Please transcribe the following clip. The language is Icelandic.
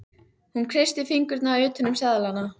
Hún kreistir fingurna utan um seðlana.